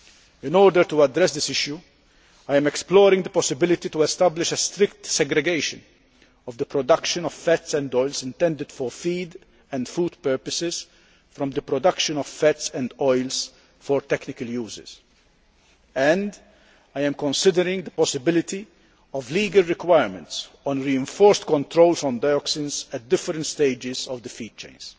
In order to address this issue, I am exploring the possibility of establishing a strict segregation of the production of fats and oils intended for feed and food purposes from the production of fats and oils for technical uses, and I am considering the possibility of legal requirements on reinforced controls on dioxins at different stages of the feed chains.